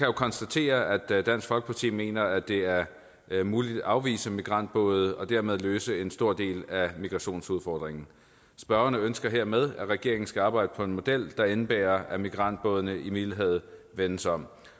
jo konstatere at dansk folkeparti mener at det er er muligt at afvise migrantbåde og dermed løse en stor del af migrationsudfordringen ønsker hermed at regeringen skal arbejde på en model der indebærer at migrantbådene i middelhavet vendes om